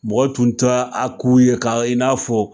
Mɔgɔ tun ta a k'u ye ka i n'a fɔ